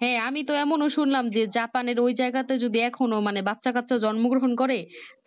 হ্যাঁ আমি তো এমন শুনলাম যে Japan এর ওই জায়গা টা যদি এখনো মানে বাছা কাছ জন্ম গ্রহণ করে